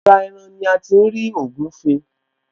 Ara ẹran ní a ti ń ri ògúfe